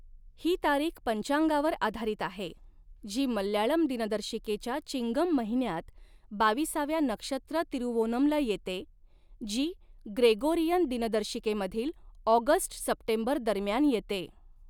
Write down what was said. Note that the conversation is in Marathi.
ही तारीख पंचांगावर आधारित आहे, जी मल्याळम दिनदर्शिकेच्या चिंगम महिन्यात बाविसाव्या नक्षत्र तिरुवोनमला येते, जी ग्रेगोरियन दिनदर्शिकेमधील ऑगस्ट सप्टेंबर दरम्यान येते.